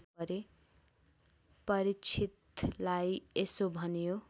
परीक्षितलाई यसो भनियो